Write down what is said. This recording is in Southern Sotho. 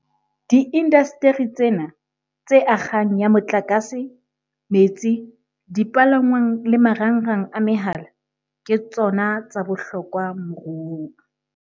Diindasteri tsena - tse akgang ya motlakase, metsi, dipalangwang le marangrang a mehala - ke tsona tsa bohlokwa moruong.